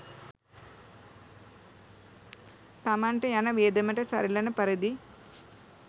තමන්ට යන වියදමට සරිලන පරිදි